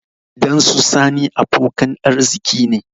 Gidan su sani abokan arziki ne